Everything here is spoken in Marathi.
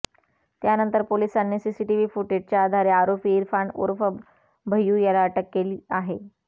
त्यानंतर पोलिसांनी सीसीटीव्ही फुटेजच्या आधारे आरोपी इरफान उर्फ भैयू याला अटक केली आहे